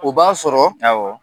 U b'a sɔrɔ , awɔ.